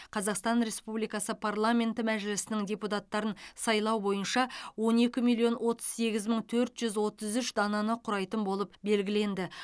қазақстан республикасы парламенті мәжілісінің депутаттарын сайлау бойынша он екі миллион отыз сегіз мың төрт жүз отыз үш дананы құрайтын болып белгіленді